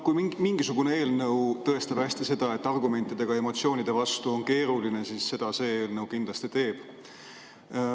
Kui üldse mingisugune eelnõu tõestab hästi seda, et argumentidega emotsioonide vastu on keeruline saada, siis seda see eelnõu kindlasti teeb.